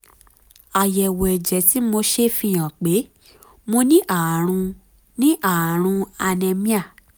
àyẹ̀wò ẹ̀jẹ̀ tí mo ṣe fi hàn pé mo ní ààrùn ní ààrùn anaemia